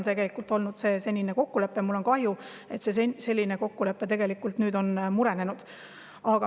Seni on olnud selline kokkulepe ja mul on kahju, et see kokkulepe on nüüd murenenud.